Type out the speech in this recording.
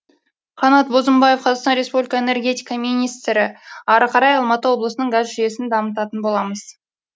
қанат бозымбаев қазақстан республика энергетика министрі ары қарай алматы облысының газ жүйесін дамытатын боламыз